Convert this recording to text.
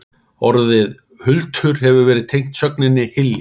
Orðið hultur hefur verið tengt sögninni hylja.